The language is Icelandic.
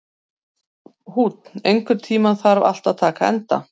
Húnn, einhvern tímann þarf allt að taka enda.